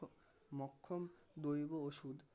অক্ষম দৈব ওষুধ